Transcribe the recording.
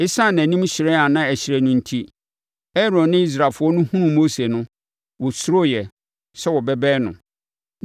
Esiane nʼanim hyerɛn a na ɛhyerɛn no enti, Aaron ne Israelfoɔ no hunuu Mose no, wɔsuroeɛ sɛ wɔbɛbɛn no.